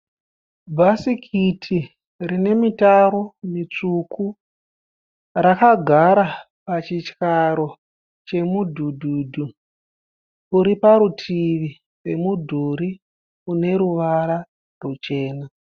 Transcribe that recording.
Bhasikiti rine mitaro mitsvuku rakagara pachityaro chemudhudhudhu uri parutivi pemudhuri une ruvara ruchena.